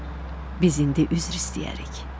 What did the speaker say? biz indi üzr istəyərik.